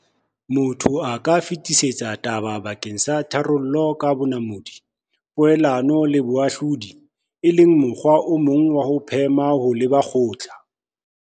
Motho a ka fetisetsa taba bakeng sa tharollo ka bonamodi, poelano le boahlodi, e le mokgwa o mong wa ho phema ho leba kgotla.